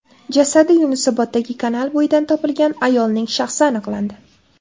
Jasadi Yunusoboddagi kanal bo‘yidan topilgan ayolning shaxsi aniqlandi.